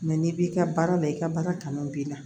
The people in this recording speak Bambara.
n'i b'i ka baara la i ka baara kanu b'i la